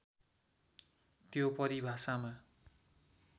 त्यो परिभाषामा